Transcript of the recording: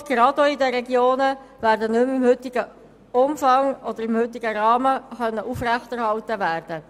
Angebote, gerade auch in den Regionen, können nicht mehr im heutigen Umfang oder im heutigen Rahmen aufrechterhalten werden.